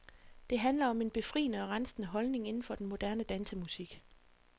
Det handler om en befriende og rensende holdning inden for den moderne dansemusik.